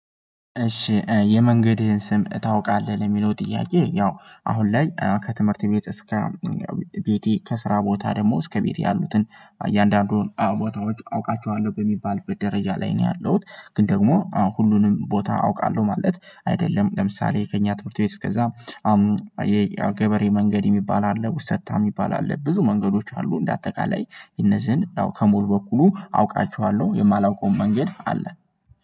እሺ የመንገድህን ስም ታውቃለህ? የሚለው ጥያቄ ያው አሁን ላይ ከትምህርት ቤት እስከ ቤት ከስራ ቦታ ደግሞ እስከ ቤቴ ያሉትን እያንዳንዱን ቦታዎች አውቃቸዋለሁ በሚባልበት ደረጃ ላይ ነው ያለሁት። ግን ደግሞ ሁሉንም ቦታ አውቃለሁ ማለት አይደለም። ለምሳሌ ከእኛ ትምህርት ቤት እስከዛ የገበሬ መንገድ የሚባል አለ ውሰታ የሚባል አለ ብዙ መንገዶች አሉ። እንደ አጠቃላይ እነዚህን አው ከሙሉ በኩሉ አውቃችኋለሁ የማላውቀውም መንገድ አለ።